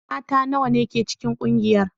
Mata nawa ne ke cikin kungiyar?